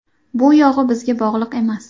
Bu yog‘i bizga bog‘liq emas.